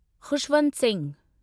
Khushwant Singh